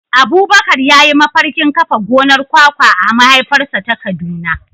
Abubakar ya yi mafarkin kafa gonar kwakwa a mahaifarsa ta Kaduna.